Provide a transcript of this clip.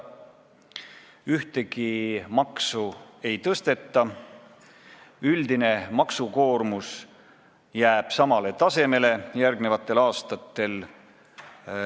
Ühtegi maksu ei tõsteta, üldine maksukoormus jääb järgmistel aastatel samaks.